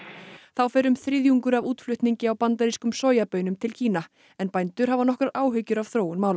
þá fer um þriðjungur af útflutningi á bandarískum sojabaunum til Kína en bændur hafa nokkrar áhyggjur af þróun mála